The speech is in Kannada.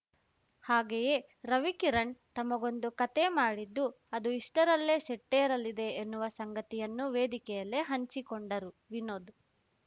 ಹಾಗೆಯೇ ರವಿಕಿರಣ್‌ ತಮಗೊಂದು ಕತೆ ಮಾಡಿದ್ದು ಅದು ಇಷ್ಟರಲ್ಲೇ ಸೆಟ್ಟೇರಲಿದೆ ಎನ್ನುವ ಸಂಗತಿಯನ್ನು ವೇದಿಕೆಯಲ್ಲೇ ಹಂಚಿಕೊಂಡರು ವಿನೋದ್‌